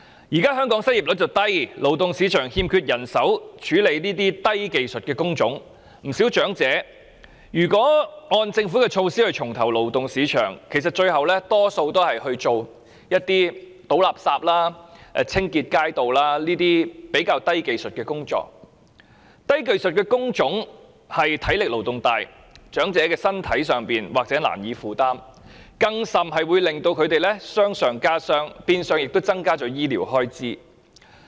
現時香港的失業率低，勞動市場欠缺人手從事低技術工種，不少長者如果按政府政策重投勞動市場，其實最後大多數都是從事倒垃圾或清潔街道等較低技術的工作，而低技術的工種的體力勞動大，長者身體或難以負擔，甚至會令他們傷上加傷，變相增加醫療開支。